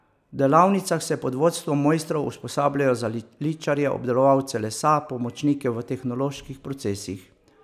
V delavnicah se pod vodstvom mojstrov usposabljajo za ličarje, obdelovalce lesa, pomočnike v tehnoloških procesih...